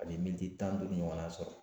A bɛ miniti tan duuru ɲɔgɔnna sɔrɔ